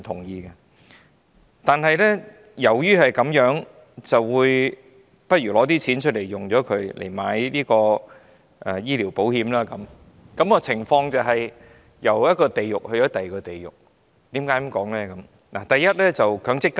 然而，基於這個原因而提取部分強積金購買醫療保險，情況猶如由一個地獄走進另一個地獄，我為何這樣說呢？